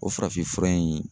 O farafinfura in